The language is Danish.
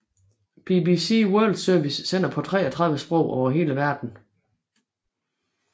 BBC World Service sender på 33 sprog over hele verden